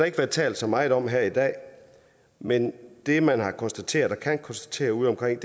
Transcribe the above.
ikke været talt så meget om her i dag men det man har konstateret og kan konstatere ude omkring